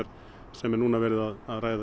sem er núna verið að ræða um